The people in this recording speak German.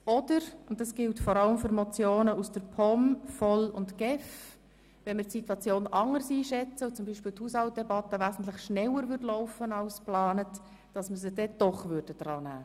Oder wenn wir die Situation im Verlauf der Session anders einschätzen und beispielsweise die Haushaltsdebatte wesentlich schneller ablaufen würde als geplant, dann würden wir diese Motionen trotzdem behandeln.